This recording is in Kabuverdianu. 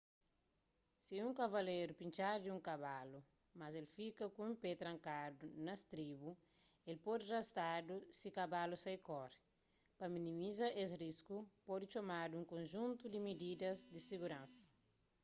si un kavaleru pintxadu di un kabalu mas el fika ku un pé trankadu na stribu el pode rastadu si kabalu sai kore pa minimiza es risku pode tomadu un konjuntu di mididas di siguransa